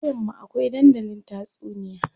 A ƙauyen mu akwai dandalin tatsuniya.